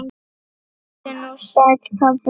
Komdu nú sæll, pabbi minn.